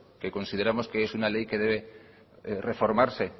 que consideramos que es una ley que debe reformarse